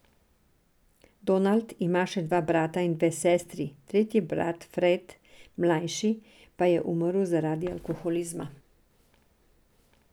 Donald ima še dva brata in dve sestri, tretji brat, Fred mlajši pa je umrl zaradi alkoholizma.